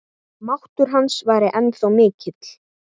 Máttur hans væri ennþá mikill.